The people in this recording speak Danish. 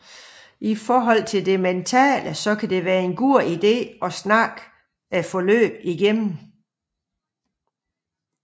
I forhold til det mentale kan det være en god ide at snakke forløbet igennem